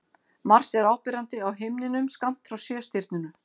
Mars er áberandi á himninum skammt frá Sjöstirninu.